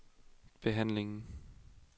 behandlingen